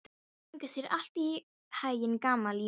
Gangi þér allt í haginn, Gamalíel.